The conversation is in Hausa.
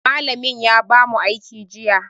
Malamin ya bamu aiki jiya.